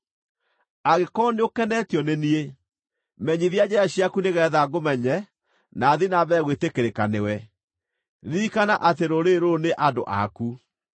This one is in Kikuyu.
Angĩkorwo nĩũkenetio nĩ niĩ, menyithia njĩra ciaku nĩgeetha ngũmenye na thiĩ na mbere gwĩtĩkĩrĩka nĩwe. Ririkana atĩ rũrĩrĩ rũrũ nĩ andũ aku.”